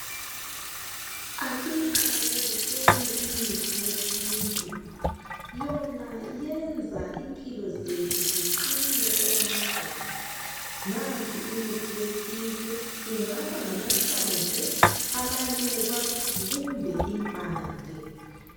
Asiyiqakathekiseni imithi yesintu yona yenza impilo zethu ziqine okwamagama nansi imithi yesintu ingaba ngamahlamvu, amaluba kumbe impande.